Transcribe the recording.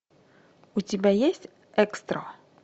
у тебя есть экстро